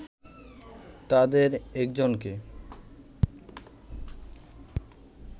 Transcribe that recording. তাদের একজনকে